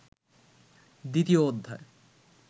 দ্বিতীয় অধ্যায়